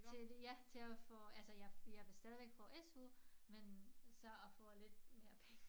Til ja til at få altså jeg jeg vil stadigvæk få SU men så at få lidt mere penge